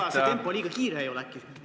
Ja ega see tempo äkki liiga suur ei ole?